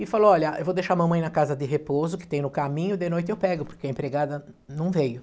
E falou, olha, eu vou deixar a mamãe na casa de repouso, que tem no caminho, de noite eu pego, porque a empregada não veio.